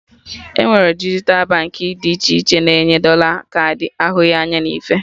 Enwere dijital Baankị dị iche iche na-enye dọla kaadị ahụghị anya na ife